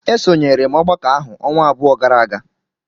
Esonyere m ọgbakọ ahụ ọnwa abụọ gara aga.